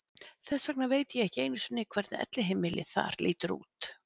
Þess vegna veit ég ekki einu sinni hvernig elliheimilið þar lítur út.